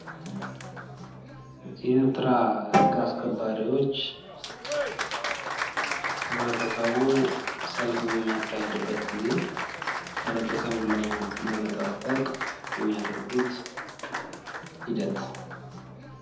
ህግ አስከባሪዎች ህብረተሰቡ ሰልፍ በሚወጣበት ጊዜ ህብረተሰቡን ለመጠበቅ የሚያደርጉት ሂደት።